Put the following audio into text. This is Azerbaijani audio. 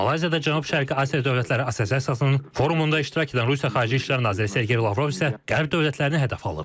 Malayziyada Cənub-Şərqi Asiya Dövlətləri Assosiasiyasının forumunda iştirak edən Rusiya Xarici İşlər naziri Sergey Lavrov isə Qərb dövlətlərini hədəf alıb.